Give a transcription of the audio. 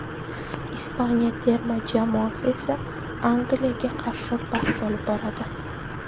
Ispaniya terma jamoasi esa Angliyaga qarshi bahs olib boradi.